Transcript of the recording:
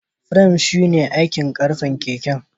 Firan su ne aikin karfen keken.